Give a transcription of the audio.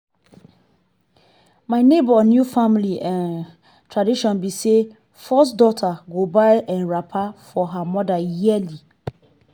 my nebor new family um tradition be say first daughter go buy um wrapper for her mother yearly.